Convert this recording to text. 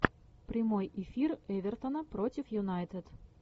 прямой эфир эвертона против юнайтед